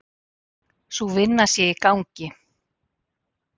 Sú vinna sé í gangi.